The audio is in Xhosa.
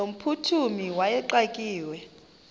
no mphuthumi wayexakiwe